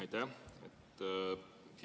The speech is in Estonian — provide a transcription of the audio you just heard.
Aitäh!